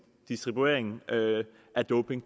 distribuering af doping